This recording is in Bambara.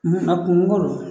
Mun a kun kɔrɔ